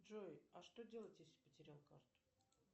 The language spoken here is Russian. джой а что делать если потерял карту